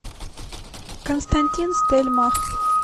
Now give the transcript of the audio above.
константин стельмах